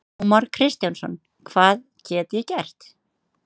Ómar Kristjánsson: Hvað get ég gert?